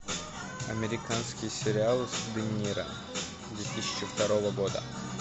американский сериал с де ниро две тысячи второго года